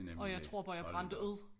Og jeg tror bare jeg brændte ud